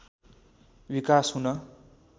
विकास हुन